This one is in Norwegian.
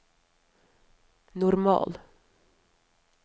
normal